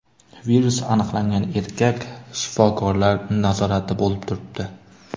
Virus aniqlangan erkak shifokorlar nazoratida bo‘lib turibdi.